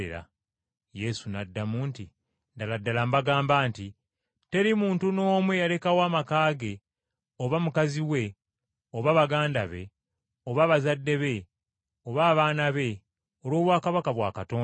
Yesu n’addamu nti, “Ddala ddala mbagamba nti teri muntu n’omu eyalekawo amaka ge, oba omukazi we, oba baganda be, oba abazadde be, oba abaana be, olw’obwakabaka bwa Katonda,